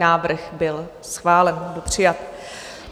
Návrh byl schválen, byl přijat.